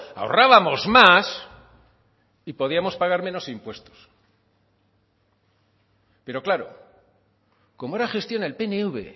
ahorrábamos más y podíamos pagar menos impuestos pero claro como era gestión el pnv